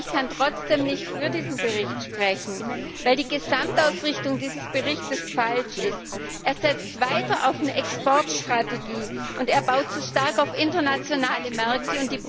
Aber ich kann trotzdem nicht für diesen Bericht sprechen, weil die Gesamtausrichtung dieses Berichtes falsch ist. Er setzt weiter auf eine Exportstrategie, und er baut zu stark auf internationale Märkte.